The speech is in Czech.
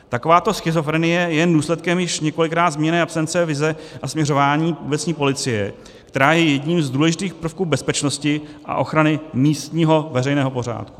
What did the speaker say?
Takováto schizofrenie je jen důsledkem již několikrát zmíněné absence vize a směřování obecní policie, která je jedním z důležitých prvků bezpečnosti a ochrany místního veřejného pořádku.